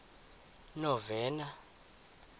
novena